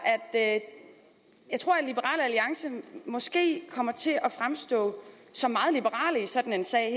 at liberal alliance måske kommer til at fremstå som meget liberale i sådan en sag